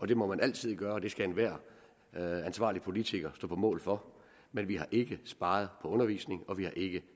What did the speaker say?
det må man altid gøre og det skal enhver ansvarlig politiker stå på mål for men vi har ikke sparet på undervisning og vi har ikke